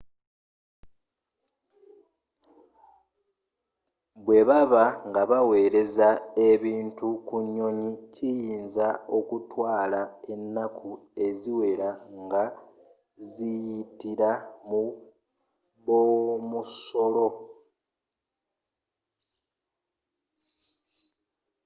bwebaba nga baweleza ebintu ku nyonyi kiyinza okutwala enaku eziwela nga ziyitila mu b'omusolo